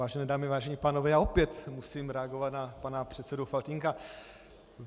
Vážené dámy, vážení pánové, já opět musím reagovat na pana předsedu Faltýnka.